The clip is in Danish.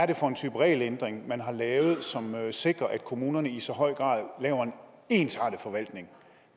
er for en type regelændring man har lavet som sikrer at kommunerne i så høj grad laver en ensartet forvaltning